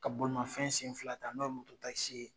Ka bolimanfɛn sen fila ta ,n'o ye moto ye.